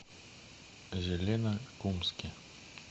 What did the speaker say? зеленокумске